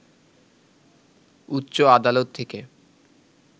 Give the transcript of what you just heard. উচ্চ আদালত থেকে